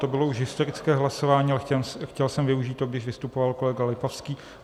To bylo už historické hlasování, ale chtěl jsem využít to, když vystupoval kolega Lipavský.